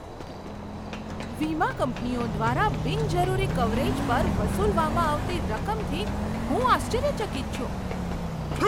વીમા કંપનીઓ દ્વારા બિનજરૂરી કવરેજ પર વસૂલવામાં આવતી રકમથી હું આશ્ચર્યચકિત છું.